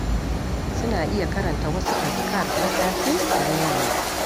Suna iya karanta wasu azkar na safe da na yamma.